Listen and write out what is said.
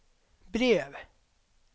brev